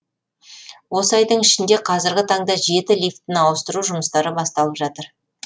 осы айдың ішінде қазіргі таңда жеті лифтіні ауыстыру жұмыстары басталып жатыр